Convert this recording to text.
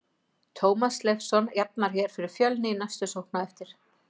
Tómas Leifsson jafnar hér fyrir Fjölni í næstu sókn á eftir!!